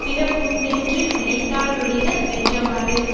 பிறப்புண்டென்று நினையாதொழிக வென்றவாறு